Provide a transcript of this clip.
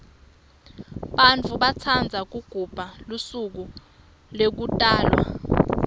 bantfu batsandza kugubha lusuko lekutalwa